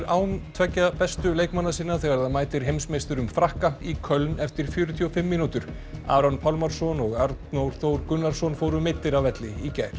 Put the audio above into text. án tveggja bestu leikmanna sinna þegar það mætir heimsmeisturum Frakka í Köln eftir fjörutíu og fimm mínútur Aron Pálmarsson og Arnór Þór Gunnarsson fóru meiddir af velli í gær